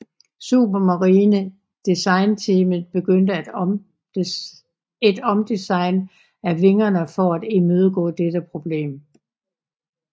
Supermarine designteamet påbegyndte et omdesign af vingerne for at imødegå dette problem